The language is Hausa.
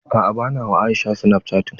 A'a bana wa Aisha snapchatting.